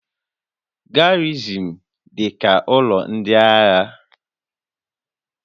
Garrịsịn dị ka ụlọ ndị agha